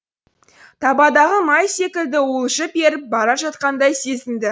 табадағы май секілді уылжып еріп бара жатқандай сезінді